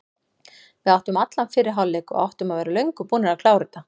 Við áttum allan fyrri hálfleik og áttum að vera löngu búnir að klára þetta.